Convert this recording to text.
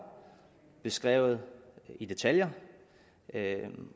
beskrevet i detaljer